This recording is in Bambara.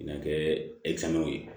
N ka kɛ ye